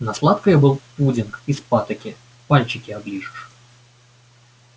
на сладкое был пудинг из патоки пальчики оближешь